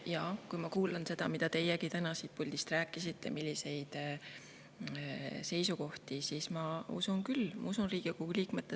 Jaa, kui ma kuulan seda, mida teiegi täna siit puldist rääkisite, milliseid seisukohti, siis ma usun küll Riigikogu liikmetesse.